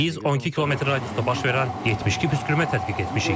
Biz 12 km radiusda baş verən 72 püskürmə tədqiq etmişik.